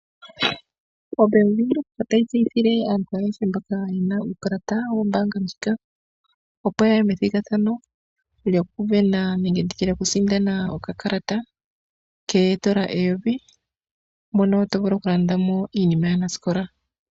Ombaanga yaWindhoek otayi tseyithile aantu ayehe mboka yena uukalata wombaanga ndjika, opo ya ye methigathanapo lyokusindandana okakalata koondolo 1000 mono tovulu okulandamo iinima yaanasikola.